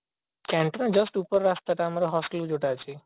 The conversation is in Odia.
canteen ତ just ଉପର ରାସ୍ତାଟା ଆମର hostel ରୁ ଯୋଉଟା ଅଛି